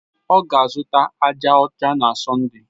Ọ ga-azụta aja ọcha na Sọnde.